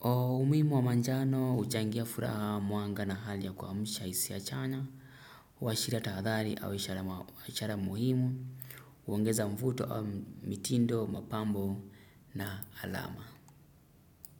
Umuimu wa manjano uchangia furaha muanga na hali ya kuamsha isia chanya huwashira tahathari au ishara muhimu huongeza mvuto au mitindo mapambo na alama.